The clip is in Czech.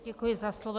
Děkuji za slovo.